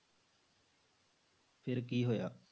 ਫਿਰ ਕੀ ਹੋਇਆ?